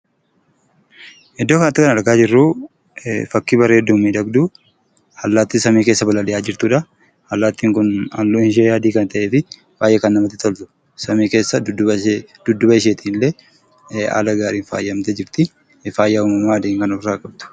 Iddoo kanatti kan argaa jirruu, fakkii bareeduu fi miidhagduu allaattii samii keessa balali'aa jirtudha. Allaattiin Kun halluun ishee adii kan ta'ee fi baayyee kan namatti toltudha samii keessa dudduuba ishee illee haala gaariin faayamtee jirti. Faaya uumamaa addeenya kan ofirraa qabdu.